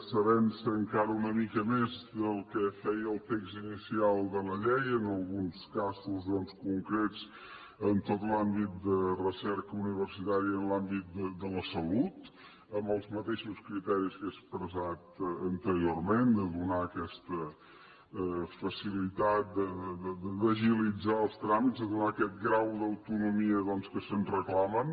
s’avença encara una mica més del que feia el text inicial de la llei en alguns casos doncs concrets en tot l’àmbit de recerca universitària i en l’àmbit de la salut amb els mateixos criteris que he expressat anteriorment de donar aquesta facilitat d’agilitzar els tràmits de donar aquest grau d’autonomia doncs que se’ns reclama